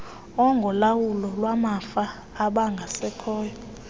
engolawulo lwamafa abangasekhoyo